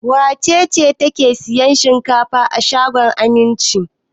Wace ce take sayan shinkafa a shagon Aminci?